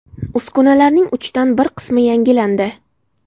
Uskunalarning uchdan bir qismi yangilandi.